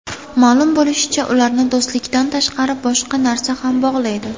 Ma’lum bo‘lishicha, ularni do‘stlikdan tashqari boshqa narsa ham bog‘laydi.